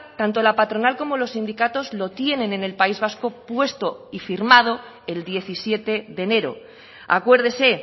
tanto la patronal como los sindicatos lo tienen en el país vasco puesto y firmado el diecisiete de enero acuérdese